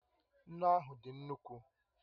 Nnu ahụ dị nnukwu